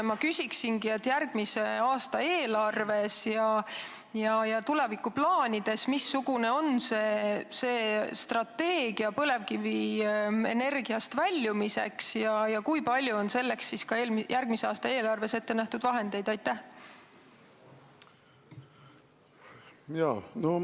Ma küsingi järgmise aasta eelarvet ja tulevikuplaane silmas pidades, missugune on strateegia põlevkivienergiast väljumiseks ja kui palju on selleks järgmise aasta eelarves vahendeid ette nähtud.